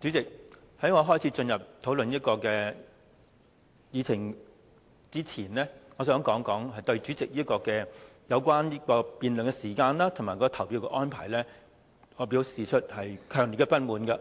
主席，在我開始討論此項議程之前，我想對主席有關辯論時間及投票的安排，表示強烈的不滿。